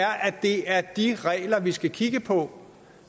det er de regler vi skal kigge på